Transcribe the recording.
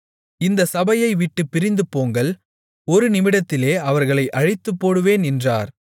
இந்தச் சபையை விட்டுப் பிரிந்து போங்கள் ஒரு நிமிடத்திலே அவர்களை அழித்துப்போடுவேன் என்றார்